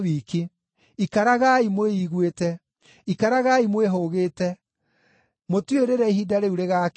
Ikaragai mwĩiguĩte! Ikaragai mwĩhũgĩte! Mũtiũĩ rĩrĩa ihinda rĩu rĩgaakinya.